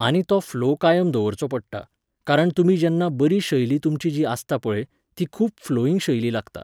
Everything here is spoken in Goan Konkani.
आनी तो फ्लो कायम दवरचो पडटा, कारण तुमी जेन्ना बरी शैली तुमची जी आसता पळय, ती खूब फ्लोइंग शैली लागता